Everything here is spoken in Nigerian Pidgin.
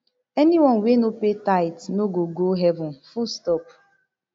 anyone wey no pay tithe no go go heaven fullstop